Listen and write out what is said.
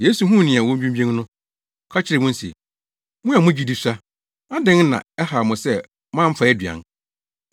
Yesu huu nea wodwinnwen no, ɔka kyerɛɛ wɔn se, “Mo a mo gyidi sua! Adɛn na ɛhaw mo sɛ moamfa aduan?